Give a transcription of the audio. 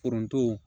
Foronto